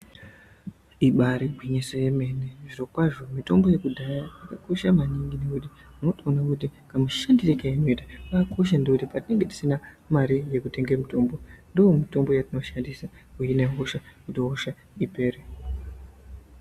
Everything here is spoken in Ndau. Ibaari gwinyiso yemene zvirokwazvo mitombo yekudhaya yakakosha maningi nekuti unotoona kuti kamushandire kairi kuita kakakosha ngekuti patinenge tisina mare yekutenge mitombo mitombo ndoyetinoshandisa kuhinna hosha kuti hosha ipere.